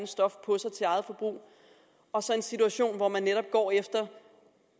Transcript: stof på sig til eget forbrug og så en situation hvor man netop går efter